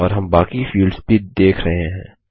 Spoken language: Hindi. और हम बाकी फील्ड्स भी देख रहे हैं